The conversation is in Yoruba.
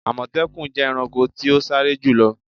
Àmọ̀tẹ́kùn jẹ́ ẹranko ti o sáré jùlo.